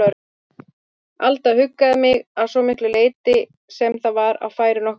Alda huggaði mig, að svo miklu leyti sem það var á færi nokkurrar manneskju.